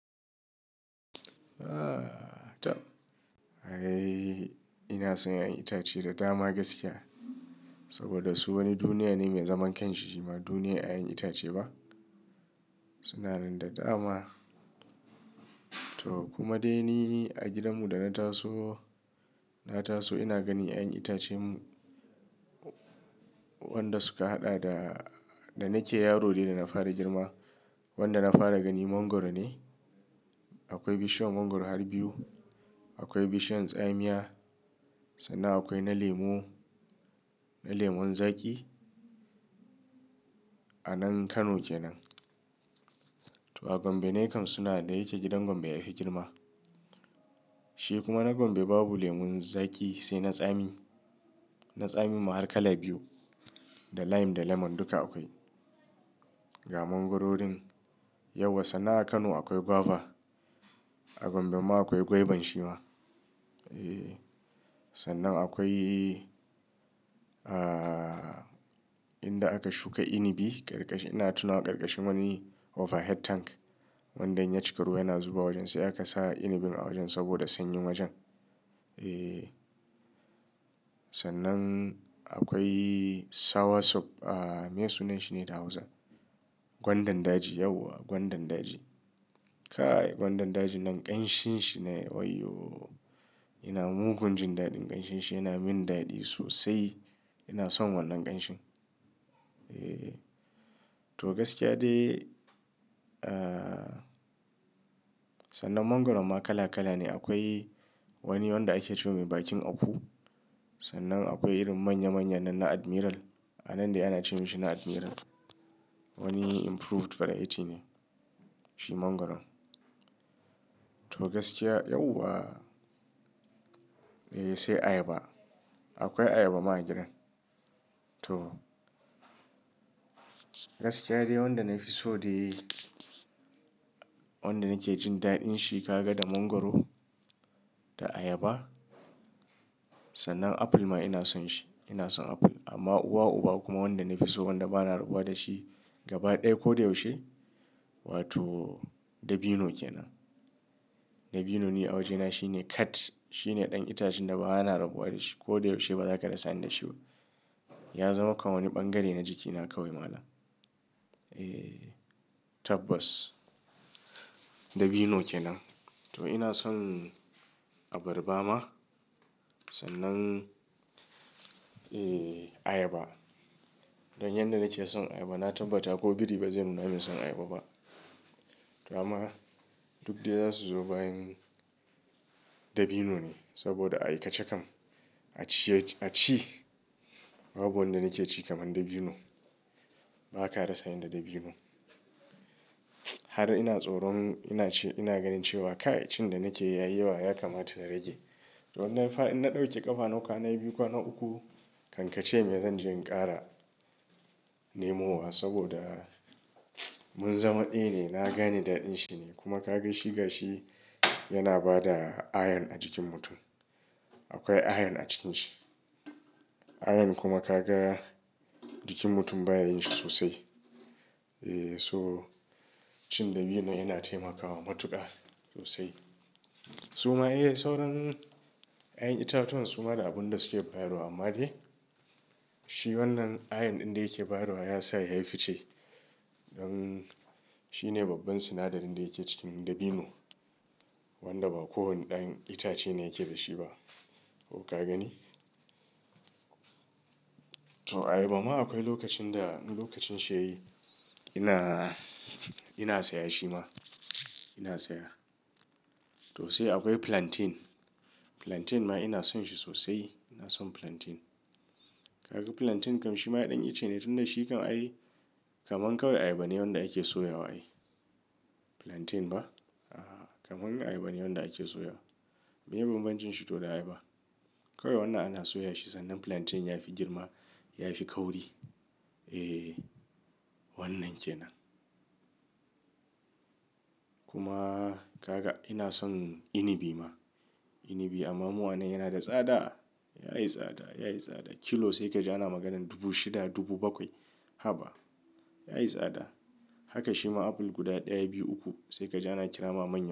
Eh, ina son yin itace da dama gaskiya. Saboda su wani duniya ne mai zaman kanshi. Shi ma duniya yayan itace ba? Suna nan da dama. To kuma dai ni a gidanmu da na taso, na taso ina gani yayan itacen wanda suka haɗa da, da nake yaro ne da na fara girma. Wanda na fara gani mangwaro ne. Akwai bishiyan mangwaro har biyu. Akwai bishiyan tsamiya. Sannan akwai na lemu, na lemon zaƙi. A nan Kano kenan. To a Gombe ne kam suna da yake gidan gombe ya fi girma. Shi kuma na Gombe babu lemon zaƙi sai na tsami, na tsamin ma har kala biyu, da lime da lemon duka akwai. Ga mangwarorin, yauwa sannan a Kano akwai guava. A Gombe ma akwai gwaiban shi ma. Eh, sannan akwai, ah, inda aka shuka inabi karkashin, ina tunawa karkashin wani overhead tank. Wanda in ya cika ruwa yana zuba wajen. Sai aka sa inabin a wajen saboda sanyi wajen. Eh. Sannan akwai soursop. Ah, meye sunan shi ne da Hausa? Gwandan daji. Yauwa gwandan daji. Kai gwandan daji nan ƙanshinshi ne. Waiyo! Ina mugun jin daɗin ƙanshinshi. Yana min daɗi sosai. Ina son wannan ƙanshin. Eh. To gaskiya dai, ah, sannan mangwaro ma kala kala ne. Akwai wani wanda ake ce wa mai bakin aku. Sannan akwai irin manya manya nan na admiral. A nan dai ana ce mashi na admiral. Wani improved variety ne. Shi mangwaro. To gaskiya, yauwa. Eh, sai ayaba. Akwai ayaba ma a gidan. To gaskiya dai wanda na fi so dai, wanda nake jin daɗin shi ka ga da mangwaro da ayaba. Sannan apple ma ina son shi. Ina son apple. Amma uwa, uba kuma wanda na fi so wanda bana rabuwa da shi gaba ɗaya ko da yaushe, wato dabino kenan. Dabino ne a wajena shine cat. Shine ɗan itacen da ba na rabuwa da shi. Ko da yaushe ba za ka rasa ni da shi ba. Ya zama kaman wani ɓangare na jikina kawai malam. Eh, tabbas. Dabino kenan. To ina son abarba ma. Sannan, eh, ayaba. Don yan da nake son ayaba, na tabbata ko biri ba zai nuna mun son ayaba ba. To amma duk dai za su zo bayan dabino ne. Saboda a yi kaca kam, a ciye, a ci, babu wanda nake ci kaman dabino. Ba ka rasa ni da dabino. Har ina tsoron, ina ce, ina ganin cewa ka cin da nake yi ya yi yawa ya kamata in rage. To in na ɗauke ƙafa na, kwana biyu kwana uku, kankacen ya zan je in ƙara nemowa. Saboda mun zama ɗaya ne, na gane daɗin shi ne. Kuma ka ga shi gashi yana ba da iron a jikin mutum. Akwai iron a cikin shi. Iron kuma ka ga jikin mutum baya yin shi sosai. Eh, so cin dabino yana taimakawa matuƙa sosai. Suma eh, sauran yayan itatuwan suma da abun da suke bayarwa amma dai shi wannan iron ɗin da yake bayarwa ya sa ya yi fice. Don shine babban sinadarin da yake cikin dabino. Wanda ba kowane ɗan itace ne yake da shi ba. Ko ka gani? To ayaba ma akwai lokacin da, lokacin shi ya yi ina, ina saya shi ma. Ina saya. To sai akwai plantain. Plantain ma ina son shi sosai. Ina son plantain. Kaga plantain kam shi ma ɗan ice ne tun da shi kam a yi kamar kawai ayaba ne wanda ake soya wa ai. Plantain ba? Ah, kamar ayaba ne wanda ake soya. Mai banbancin shi to da ayaba. Kawai wannan ana soya shi sannan plantain ya fi girma, ya fi kauri. Eh, wannan kenan. Kuma ka ga ina son inabi ma. Inabi amma mu anan yana da tsada. Ya yi tsada, ya yi tsada. Kilo sai ka ji ana maganan dubu shida, dubu bakwai. Haba. Ya yi tsada. Haka shi ma apple guda ɗaya, biyu, uku sai ka ji ana kira ma man.